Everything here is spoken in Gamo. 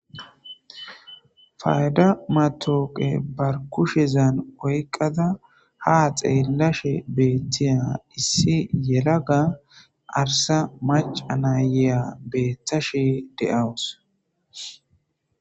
Fayda matooqe bar kushezan oykqada ha xeellashe beettiya issi yelaga arsa maca naayeya beettashe de7awus.